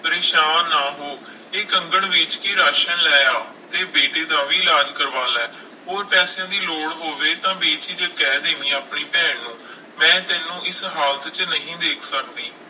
ਪਰੇਸਾਨ ਨਾ ਹੋ, ਇਹ ਕੰਗਣ ਵੇਚ ਕੇ ਰਾਸ਼ਣ ਲੈ ਆ, ਤੇ ਬੇਟੇ ਦਾ ਵੀ ਇਲਾਜ਼ ਕਰਵਾ ਲੈ, ਹੋਰ ਪੈਸਿਆਂ ਦੀ ਲੋੜ ਹੋਵੇ ਤਾਂ ਬੇਝਿਜਕ ਕਹਿ ਦੇਵੀਂ ਆਪਣੀ ਭੈਣ ਨੂੰ, ਮੈਂ ਤੈਨੂੰ ਇਸ ਹਾਲਤ 'ਚ ਨਹੀਂ ਦੇਖ ਸਕਦੀ।